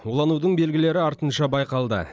уланудың белгілері артынша байқалды